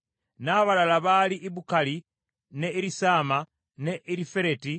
N’abalala baali Ibukali, ne Erisaama, ne Erifereti,